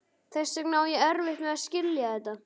Þess vegna á ég erfitt með að skilja þetta.